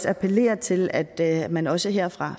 appellere til at at man også her fra